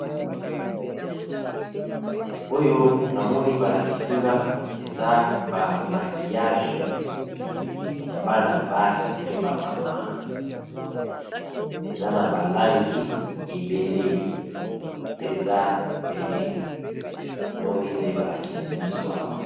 Oyo namoni balakisinga eza ba bic ya ba langi ya bana basalelaka na kelasi. Eza na ba balangi ebele pe za ebele likolo ya mesa.